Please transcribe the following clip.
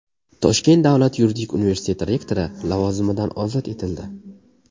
Toshkent davlat yuridik universiteti rektori lavozimidan ozod etildi.